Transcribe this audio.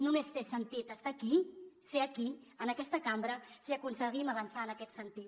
només té sentit estar aquí ser aquí en aquesta cambra si aconseguim avançar en aquest sentit